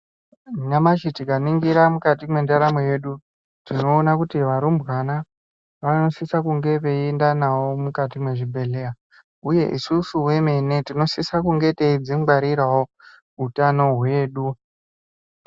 Nyamashi tikaningira mukati mendaramo yedu tinoona kuti varumbwana vanosisa kunge veienda navo mukati mwezvibhedheya, uye isusu vemene tinosisa kunge teidzingwarirawo utano hwedu.